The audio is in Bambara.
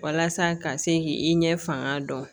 Walasa ka se k' i ɲɛ fanga dɔn